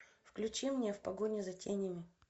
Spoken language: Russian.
включи мне в погоне за тенями